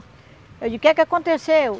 Eu digo, o que é que aconteceu?